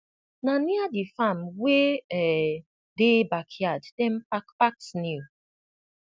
na near the farm wey um dey backyard dem pack pack snail